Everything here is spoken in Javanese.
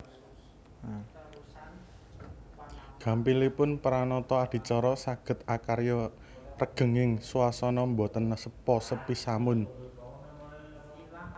Gampilipun pranata adicara saged akarya regenging swasana boten sepa sepi samun